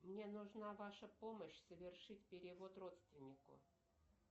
мне нужна ваша помощь совершить перевод родственнику